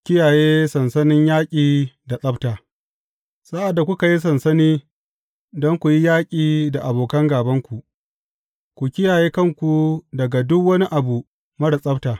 Kiyaye sansanin yaƙi da tsabta Sa’ad da kuka yi sansani don ku yi yaƙi da abokan gābanku, ku kiyaye kanku daga duk wani abu marar tsabta.